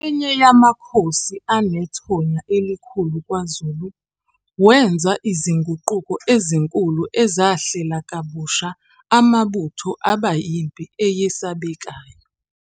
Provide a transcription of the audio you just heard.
Enye yamakhosi anethonya elikhulu kwaZulu, wenza izinguquko ezinkulu ezahlela kabusha amabutho aba impi eyesabekayo.